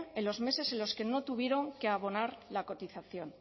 en los meses en los que no tuvieron que abonar la cotización